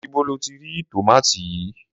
Íbo lo ti rí tòmátì yìí?